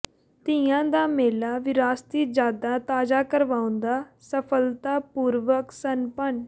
ਤੀਆਂ ਦਾ ਮੇਲਾ ਵਿਰਾਸਤੀ ਯਾਦਾਂ ਤਾਜ਼ਾ ਕਰਵਾਉਂਦਾ ਸਫ਼ਲਤਾਪੂਰਵਕ ਸੰਪੰਨ